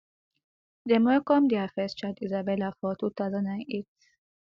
dem welcome dia first daughter isabella for two thousand and eight